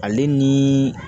Ale ni